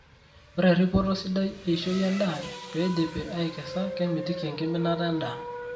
Ore eripoto sidai eishoi endaa peidipi aikesa kemitiki enkiminata endaa